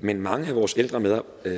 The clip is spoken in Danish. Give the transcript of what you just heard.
men mange af vores ældre